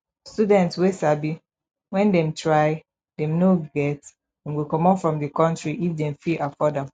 student wey sabi when dem try dem no get dem go comot from di country if dem fit afford am